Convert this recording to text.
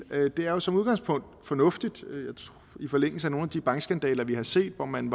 det er jo som udgangspunkt fornuftigt i forlængelse af nogle af de bankskandaler vi har set hvor man